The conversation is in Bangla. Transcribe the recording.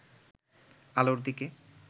আলোর দিকে